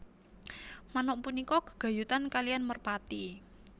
Manuk punika gègayutan kaliyan merpati